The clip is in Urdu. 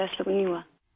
ایسا تو نہیں ہوا